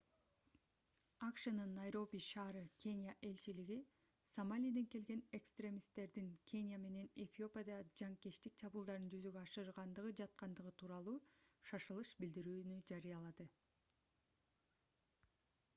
акшнын найроби ш. кения элчилиги сомалиден келген экстремисттердин кения менен эфиопияда жанкечтик чабуулдарын жүзөгө ашырганы жаткандыгы тууралуу шашылыш билдирүүнү жарыялады